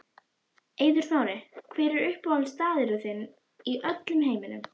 Eiður Smári Hver er uppáhaldsstaðurinn þinn í öllum heiminum?